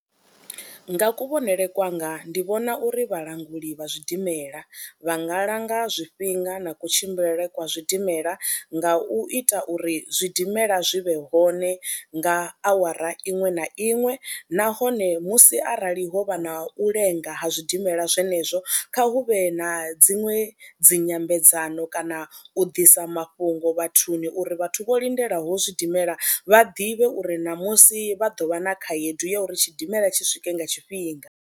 Nga kuvhonele kwanga ndi vhona uri vhalanguli vha zwidimela vha nga langa zwifhinga na kutshimbilele kwa zwidimela nga u ita uri zwidimela zwi vhe hone nga awara iṅwe na iṅwe nahone musi arali ho vha na u lenga ha zwidimela zwenezwo, kha hu vhe na dziṅwe dzi nyambedzano kana u ḓisa mafhungo vhathuni uri vhathu vho lindelaho zwidimela vha ḓivhe uri namusi vha ḓo vha na khaedu ya uri tshidimela tshi swike nga tshifhinga.